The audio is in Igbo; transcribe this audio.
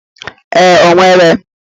Ee, o nwere.